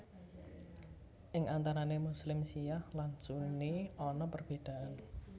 Ing antarane Muslim Syiah lan Sunni ana perbedaan